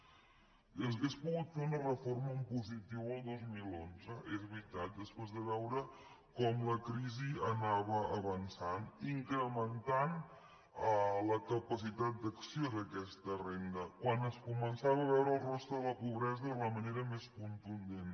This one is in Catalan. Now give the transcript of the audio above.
s’hauria pogut fer una reforma en positiu el dos mil onze és veritat després de veure com la crisi anava avançant incrementant la capacitat d’acció d’aquesta renda quan es començava a veure el rostre de la pobresa de la manera més contundent